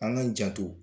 An k'an janto